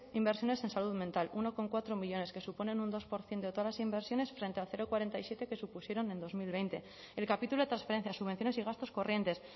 inversiones en salud mental uno coma cuatro millónes que suponen un dos por ciento de todas las inversiones frente al cero coma cuarenta y siete por ciento que supusieron en dos mil veinte el capítulo de transferencias subvenciones y gastos corrientes